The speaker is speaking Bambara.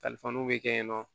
bɛ kɛ yen nɔ